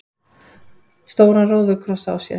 stóran róðukross á sér.